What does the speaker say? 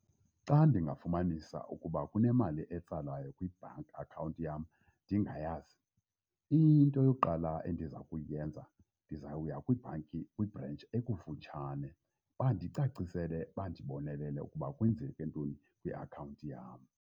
Xa ndingafumanisa ukuba kunemali etsalwayo kwi-bank account yam ndingayazi, into yokuqala endiza kuyenza ndizawuya kwibhanki kwibhrentshi ekufutshane bandicacisele bandibonelele ukuba kwenzeke ntoni kwiakhawunti yam.